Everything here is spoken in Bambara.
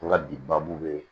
N ka bi baabu be